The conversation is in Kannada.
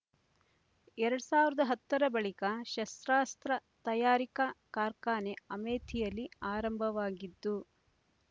ಎರಡ್ ಸಾವರದ ಹತ್ತರ ಬಳಿಕ ಶಸ್ತ್ರಾಸ್ತ್ರ ತಯಾರಿಕಾ ಕಾರ್ಖಾನೆ ಅಮೇಥಿಯಲ್ಲಿ ಆರಂಭವಾಗಿದ್ದು